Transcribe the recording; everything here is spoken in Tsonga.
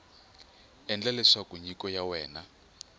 endla leswaku nyiko ya wena